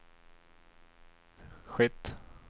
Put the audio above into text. skett